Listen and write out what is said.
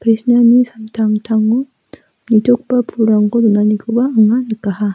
samtangtango nitogipa pulrangko donanikoba anga nikaha.